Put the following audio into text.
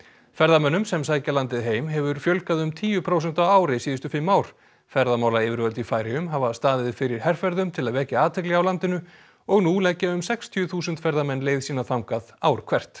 ferðamönnum sem sækja landið heim hefur fjölgað um tíu prósent á ári síðustu fimm ár ferðamálayfirvöld í Færeyjum hafa staðið fyrir herferðum til að vekja athygli á landinu og nú leggja um sextíu þúsund ferðamenn leið sína þangað ár hvert